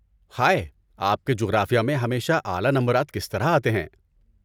ہائے، آپ کے جغرافیہ میں ہمیشہ اعلی نمبرات کس طرح آتے ہیں؟